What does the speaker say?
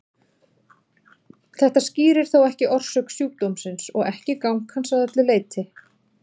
Þetta skýrir þó ekki orsök sjúkdómsins og ekki gang hans að öllu leyti.